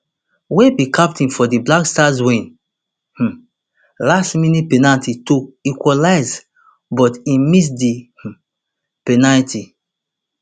wey be captain for di black stars win um last minute penalty to equalize but im miss di um penalty